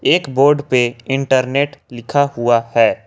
एक बोर्ड पे इंटरनेट लिखा हुआ है।